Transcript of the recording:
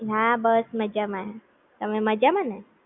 હા બસ મજામાં, તમે મજામાં ને?